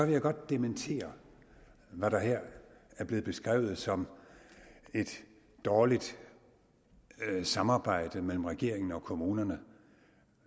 jeg godt dementere hvad der her er blevet beskrevet som et dårligt samarbejde mellem regeringen og kommunerne